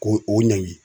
Ko o ɲangi